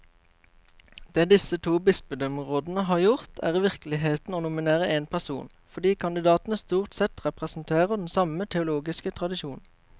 Det disse to bispedømmerådene har gjort, er i virkeligheten å nominere én person, fordi kandidatene stort sett representerer den samme teologiske tradisjon.